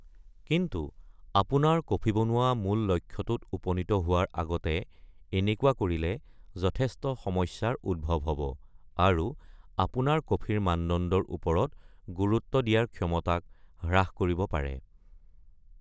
কিন্তু, অপোনাৰ কফি বনোৱা মূল লক্ষ্যটোত উপনীত হোৱাৰ অগতে এনেকুৱা কৰিলে যথেষ্ট সমস্যাৰ উদ্ভৱ হ'ব, আৰু অপোনাৰ কফিৰ মানদণ্ডৰ ওপৰত গুৰুত্ব দিয়াৰ ক্ষমতাক হ্ৰাস কৰিব পাৰে।